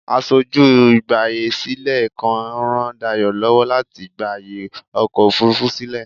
Aṣojú ìgbààyèsílẹ̀ kan ń ràn Dayọ̀ lọ́wọ́ láti gba ààyè ọkọ̀ òfurufú sílẹ̀.